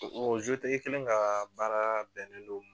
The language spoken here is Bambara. o kelen ka baara bɛnnen do